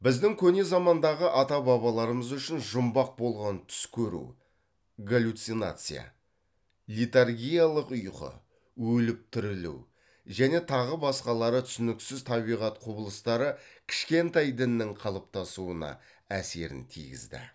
біздің көне замандағы ата бабаларымыз үшін жұмбақ болған түс көру галлюцинация летаргиялық ұйқы өліп тірілу және тағы басқалары түсініксіз табиғат құбылыстары кішкентай діннің қалыптасуына әсерін тигізді